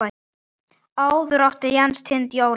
Áður átti Jens Tind Óla.